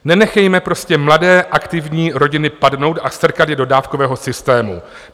Nenechejme prostě mladé aktivní rodiny padnout a strkat je do dávkového systému.